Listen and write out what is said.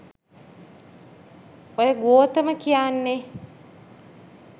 ඔය ගෝතම කියන්නෙ